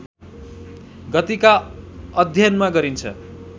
गतिका अध्ययनमा गरिन्छ